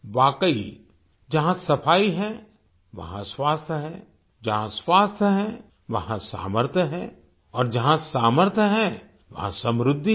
वाकई जहाँ सफाई है वहाँ स्वास्थ्य है जहाँ स्वास्थ्य है वहाँ सामर्थ्य है और जहाँ सामर्थ्य है वहाँ समृद्धि है